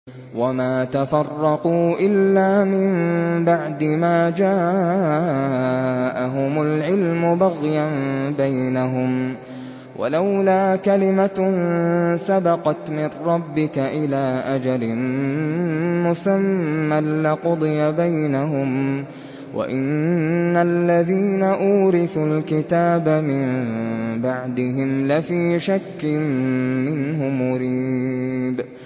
وَمَا تَفَرَّقُوا إِلَّا مِن بَعْدِ مَا جَاءَهُمُ الْعِلْمُ بَغْيًا بَيْنَهُمْ ۚ وَلَوْلَا كَلِمَةٌ سَبَقَتْ مِن رَّبِّكَ إِلَىٰ أَجَلٍ مُّسَمًّى لَّقُضِيَ بَيْنَهُمْ ۚ وَإِنَّ الَّذِينَ أُورِثُوا الْكِتَابَ مِن بَعْدِهِمْ لَفِي شَكٍّ مِّنْهُ مُرِيبٍ